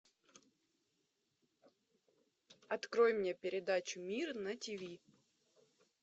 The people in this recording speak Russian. открой мне передачу мир на тв